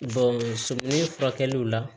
furakɛliw la